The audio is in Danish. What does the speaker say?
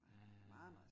Ja